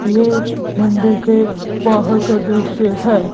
ये मंदिर के बाहर का दृश्य है।